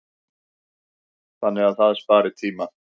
Þannig að það spari tíma.